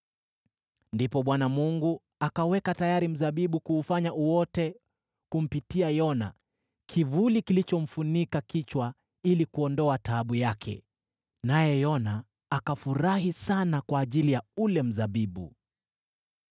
Ndipo Bwana , Mungu akaweka tayari mzabibu na kuufanya uote, kumpa Yona kivuli kilichomfunika kichwa ili kuondoa taabu yake, naye Yona akafurahi sana kwa ajili ya ule mzabibu.